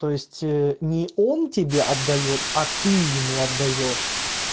то есть не он тебе отдаёт а ты ему отдаёшь